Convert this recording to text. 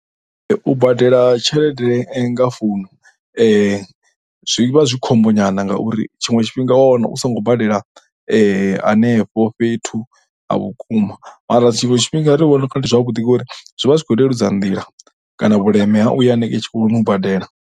U badela tshelede nga founu zwi vha zwi khombo nyana ngauri tshiṅwe tshifhinga u ya wana u songo bedela hanefho fhethu ha vhukuma mara tshiṅwe tshifhinga ndi vhona u nga ndi zwavhuḓi ngori zwi vha zwi khou leludza nḓila kana vhuleme ha u ya hanengei tshikoloni u badela.